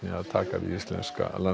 að taka við íslenska